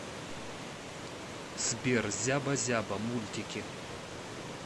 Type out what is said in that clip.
сбер зяба зяба мультики